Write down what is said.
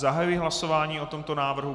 Zahajuji hlasování o tomto návrhu.